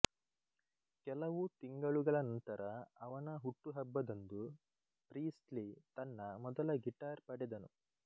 ಕೆಲವು ತಿಂಗಲುಗಳ ನಂತರ ಅವನ ಹುಟ್ಟುಹಬ್ಬದಂದು ಪ್ರೀಸ್ಲಿ ತನ್ನ ಮೊದಲ ಗಿಟಾರ್ ಪಡೆದನು